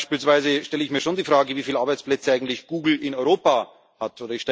Beispielsweise stelle ich mir schon die Frage, wieviel Arbeitsplätze eigentlich Google in Europa hat.